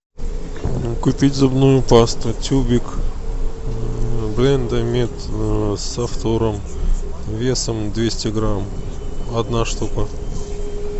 купить зубную пасту тюбик блендамед со фтором весом двести грамм одна штука